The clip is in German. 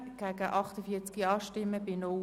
Imboden, Bern] / SP-JUSO-PSA [Marti, Bern] – Nr. 1)